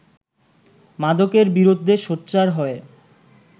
মাদকের বিরুদ্ধে সোচ্চার হয়ে